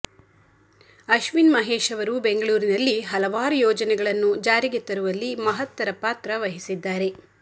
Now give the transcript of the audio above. ಅಶ್ವಿನ್ ಮಹೇಶ್ ಅವರು ಬೆಂಗಳೂರಿನಲ್ಲಿ ಹಲವಾರು ಂುೋಜನೆಗಳನ್ನು ಜಾರಿಗೆ ತರುವಲ್ಲಿ ಮಹತ್ತರ ಪಾತ್ರ ವಹಿಸಿದ್ದಾರೆ